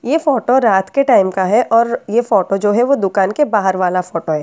ये फोटो रात के टाइम का है और ये फोटो जो है वो दुकान के बाहर वाला फोटो है।